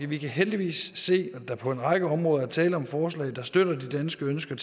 vi kan heldigvis se at der på en række områder er tale om forslag der støtter det danske ønske